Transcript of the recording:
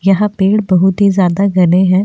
यहां पेड़ बहुत ही ज्यादा गने हैं।